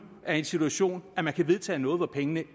er i en situation at man kan vedtage noget hvor pengene